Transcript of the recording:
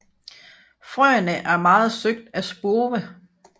Frøene er meget søgt af spurve